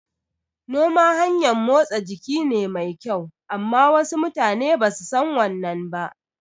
Noma hanyan motsa jiki ne mai kyau amma wasu mutane basu san wannan ba